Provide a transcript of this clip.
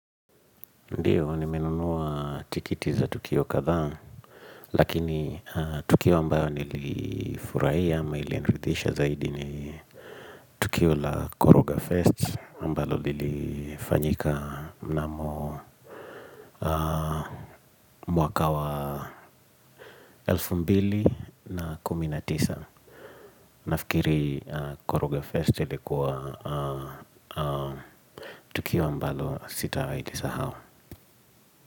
Ndiyo, nimenunua tikiti za Tukio kadhaa, lakini Tukio ambayo nilifurahia ama ili nirithisha zaidi ni Tukio la Koroga Fest ambalo lilifanyika mnamo mwaka wa 2019 nafikiri Koroga Fest ilikuwa Tukio ambayo sitawai lisahau.